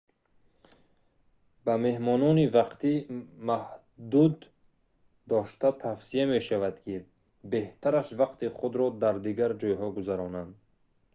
ба меҳмонони вақти маҳдуд дошта тавсия мешавад ки беҳтараш вақти худро дар дигар ҷойҳо гузаронанд